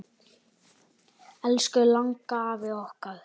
Elsku langafi okkar.